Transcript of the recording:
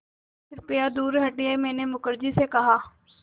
कृपया दूर हटिये मैंने मुखर्जी से कहा